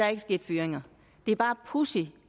er sket fyringer det er bare pudsigt